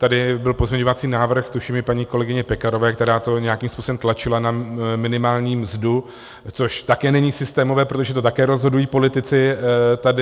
Tady byl pozměňovací návrh tuším paní kolegyně Pekarové, která to nějakým způsobem tlačila na minimální mzdu, což také není systémové, protože to také rozhodují politici tady.